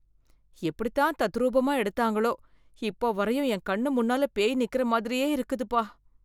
எப்படித்தான் தத்ரூபமா எடுத்தாங்களோ, இப்ப வரையும் என் கண் முன்னால பேய் நிக்கற மாதிரியே இருக்குதுப்பா.